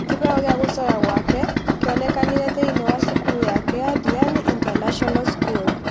Kĩheo gĩa gũcora gwake kĩonekanire thĩine ya cukuru yake ya Diani International School.